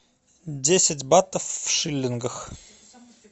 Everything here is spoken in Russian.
десять батов в шиллингах